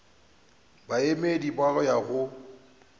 baemedi ba go ya go